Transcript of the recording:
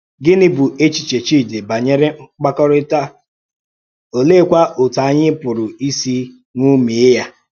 Gịnị um bụ̀ èchìchè Chídì banyere mkpàkọ́rịtà, òlèékwà otú ànyị pùrù ísì ṅòmíè ya? um